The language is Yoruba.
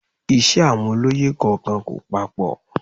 Iṣẹ́ àwọn olóyè kọ̀ọ̀kan kò papọ